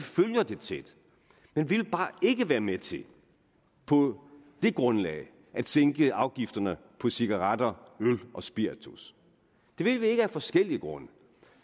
følger det tæt men vi vil bare ikke være med til på det grundlag at sænke afgifterne på cigaretter øl og spiritus det vil vi ikke af forskellige grunde